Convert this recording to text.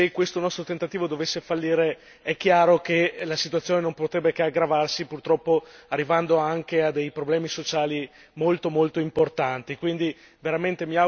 Perché evidentemente se questo nostro tentativo dovesse fallire, è chiaro che la situazione non potrebbe che aggravarsi purtroppo arrivando anche a dei problemi sociali molto, molto importanti.